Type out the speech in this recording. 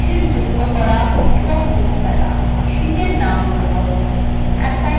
sheets যুক্ত করা ও মুছে ফেলা